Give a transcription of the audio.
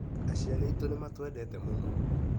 Aciari aitũ nĩmatwendete mũno.